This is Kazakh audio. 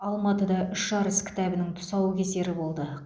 алматыда үш арыс кітабының тұсаукесері болды